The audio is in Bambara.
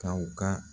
Ka u ka